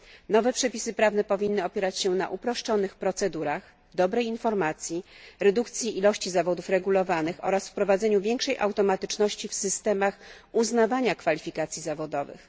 Nowe przepisy powinny opierać się na uproszczonych procedurach, dobrej informacji, redukcji ilości zawodów regulowanych oraz wprowadzeniu większej automatyczności w systemach uznawania kwalifikacji zawodowych.